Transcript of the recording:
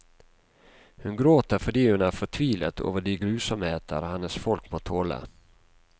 Hun gråter fordi hun er fortvilet over de grusomheter hennes folk må tåle.